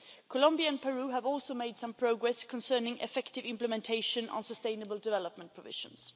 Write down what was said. Colombia and Peru have also made some progress concerning effective implementation on sustainable development provisions.